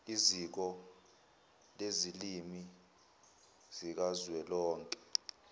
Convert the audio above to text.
iziko lezilimi zikazwelonke